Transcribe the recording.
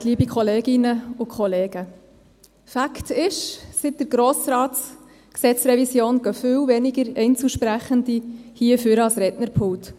Seit der Revision des Gesetzes über den Grossen Rat (GRG) kommen viel weniger Einzelsprechende hier nach vorne ans Rednerpult.